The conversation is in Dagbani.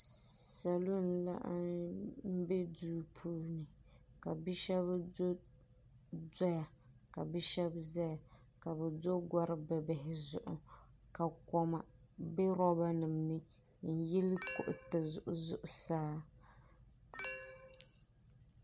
Salo n laɣim be duu puuni ka bi'sheba zaya ka bɛ do gori'bibihi zuɣu ka koma be loba nima ni n yili kuriti zuɣusaa.